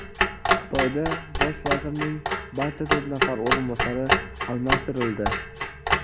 Xitoyda bosh vazirning barcha to‘rt nafar o‘rinbosari almashtirildi.